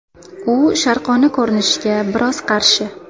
U sharqona ko‘rinishga biroz qarshi.